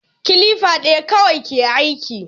Kilifa ɗaya kawai ke aiki